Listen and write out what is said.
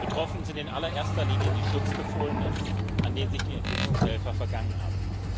Betroffen sind in allererster Linie die Schutzbefohlenen, an denen sich die Entwicklungshelfer vergangen haben.